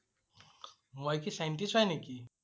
মই কি Scientist হয় নেকি?